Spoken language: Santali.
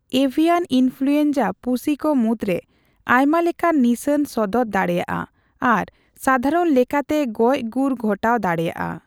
ᱮᱵᱷᱤᱭᱟᱱ ᱤᱱᱯᱷᱩᱞᱩᱭᱮᱱᱡᱟ ᱯᱩᱥᱤᱠᱚ ᱢᱩᱫᱽᱨᱮ ᱟᱭᱢᱟ ᱞᱮᱠᱟᱱ ᱱᱤᱥᱟᱹᱱ ᱥᱚᱫᱚᱨ ᱫᱟᱲᱮᱭᱟᱜᱼᱟ ᱟᱨ ᱥᱟᱫᱷᱟᱨᱚᱱ ᱞᱮᱠᱟᱛᱮ ᱜᱚᱡ ᱜᱩᱨ ᱜᱷᱚᱴᱟᱣ ᱫᱟᱲᱮᱭᱟᱜᱼᱟ ᱾